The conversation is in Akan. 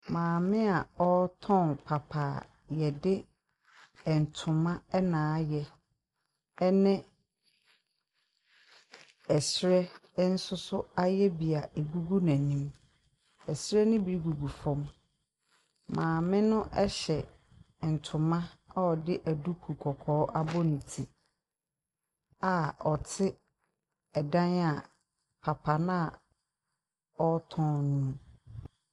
Maami a ɔɔtɔn papa yɛdi ɛntoma ɛna ayɛ ɛne ɛsrɛ nsoso ayɛ bi a egugu n'enim. Ɛsrɛ no bi gugu fɔm. Maami no ɛhyɛ ɛntoma a ɔdi ɛduku kɔkɔɔ abɔ ne ti a ɔti ɛdan a papa naa ɔɔtɔ no.